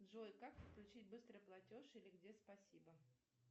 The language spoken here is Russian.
джой как подключить быстрый платеж или где спасибо